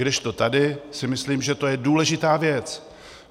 Kdežto tady si myslím, že to je důležitá věc.